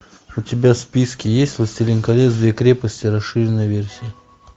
у тебя в списке есть властелин колец две крепости расширенная версия